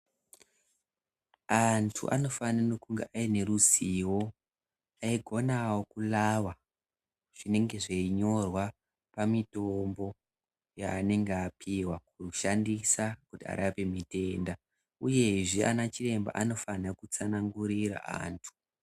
Antu anofanire kunge aineruzivo, eigonawo kurava zvinenge zveinyorwa pamitombo yevanenge vapihwa kushandisa kuti arape mitenda, uyezve anachiremba anofane kutsanangurira antu.